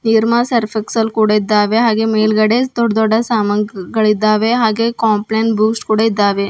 Nirma Surf Excel ಕೂಡ ಇದ್ದಾವೆ ಹಾಗೆ ಮೇಲ್ಗಡೆ ದೊಡ್ಡ್ ದೊಡ್ಡ ಸಾಮಾನ್ಗಳಿದ್ದಾವೆ ಹಾಗೆ ಕಾಂಪ್ಲೈನ್ ಬೂಸ್ಟ್ ಕೂಡ ಇದ್ದಾವೆ.